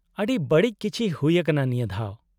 -ᱟᱹᱰᱤ ᱵᱟᱹᱲᱤᱡ ᱠᱤᱪᱷᱤ ᱦᱩᱭ ᱟᱠᱟᱱᱟ ᱱᱤᱭᱟᱹ ᱫᱷᱟᱣ ?